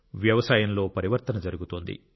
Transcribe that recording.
వ్యవసాయంలో పరివర్తన జరుగుతోంది